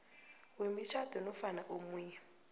wemitjhado nofana omunye